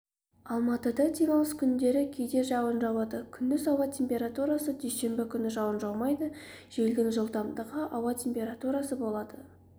алматыда демалыс күндері кейде жауын жауады күндіз ауа температурасы дүйсенбі күні жауын жаумайды желдің жылдамдығы ауа температурасы болады